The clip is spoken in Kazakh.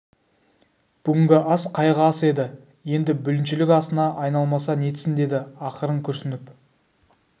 бүгінгі ас қайғы асы еді енді бүліншілік асына айналмаса нетсін деді ақырын күрсініп